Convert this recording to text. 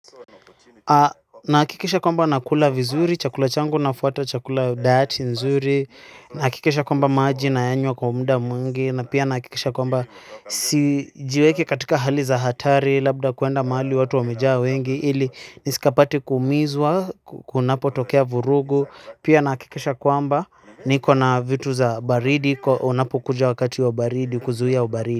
Nahakikisha kwamba nakula vizuri, chakula changu nafuata, chakula diet nzuri, nahakikisha kwamba maji nayanywa kwa muda mwingi, na pia nahakikisha kwamba sijiweki katika hali za hatari, labda kwenda mahali watu wamejaa wengi, ili nisikapati kuumizwa, kunapotokea vurugu, pia nahakikisha kwamba niko na vitu za baridi, unapokuja wakati wa baridi, kuzuia ubaridi.